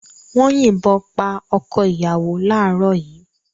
Wọ́n yìnbọn pa ọkọ-ìyàwó láàárọ̀ yìí.